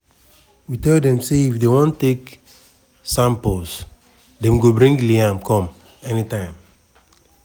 we tell dem say if dem wan take samples dem go bring liam come anytime